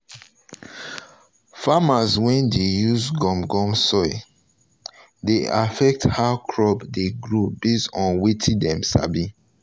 farmers wey dey use gum gum soil dey affect how crop dey grow based on wetin dem sabi